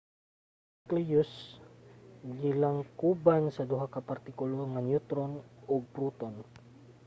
ang necleus gilangkoban sa duha ka mga partikulo - mga neutron ug proton